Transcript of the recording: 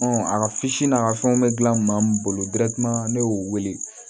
a ka n'a ka fɛnw bɛ gilan maa min bolo ne y'o wele